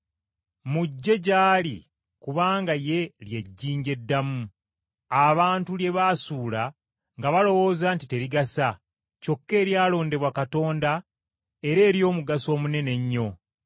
Mujje gy’ali kubanga ye ly’ejjinja eddamu, abantu lye baasuula nga balowooza nti terigasa, kyokka eryalondebwa Katonda era ery’omugaso omunene ennyo.